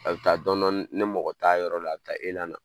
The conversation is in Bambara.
A bɛ taa dɔɔnin dɔɔnin ni ni mɔgɔ t'a yɔrɔ la, a bɛ taa elan nan.